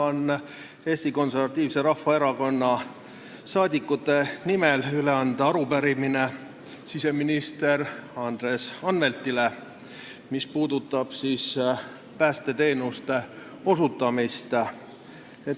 Mul on Eesti Konservatiivse Rahvaerakonna liikmete nimel anda siseminister Andres Anveltile üle arupärimine, mis puudutab päästeteenuste osutamist.